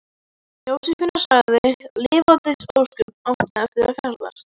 Jósefína sagði: Lifandis ósköp áttu eftir að ferðast.